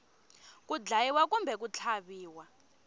ku dlayiwa kumbe ku tlhaviwa